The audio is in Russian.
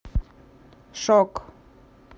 шок